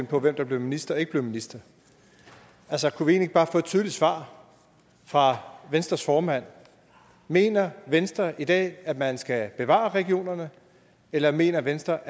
på hvem der blev minister og ikke blev minister altså kunne vi egentlig ikke bare få et tydeligt svar fra venstres formand mener venstre i dag at man skal bevare regionerne eller mener venstre